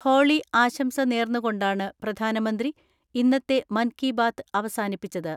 Holy ആശംസ നേർന്നുകൊണ്ടാണ് പ്രധാനമന്ത്രി ഇന്നത്തെ മൻ കി ബാത് അവസാനിപ്പിച്ചത്.